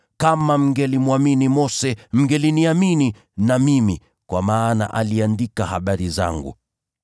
Kama mngelimwamini Mose, mngeliniamini na mimi kwa maana aliandika habari zangu.